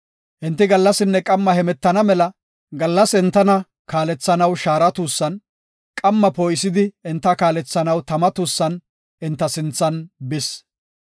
Enti gallasinne qamma hemetana mela gallas entana kaalethanaw shaara tuussan, qamma poo7isidi enta kaalethanaw tama tuussan enta sinthan bis.